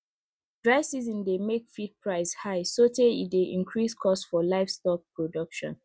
dry season dey make feed price high sotey e dey increase cost for livestock production